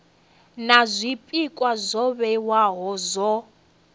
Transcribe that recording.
na zwpikwa zwo vhewaho zwa